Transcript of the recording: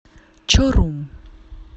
чорум